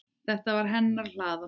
Þetta var hennar hlaða.